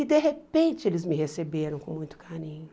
E, de repente, eles me receberam com muito carinho.